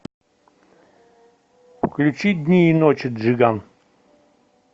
включи дни и ночи джиган